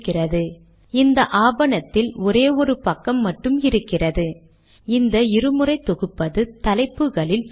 இன்றைய தேதி தானாகவே அமெரிக்க முறையில் தோன்றுவதை பார்க்கலாம்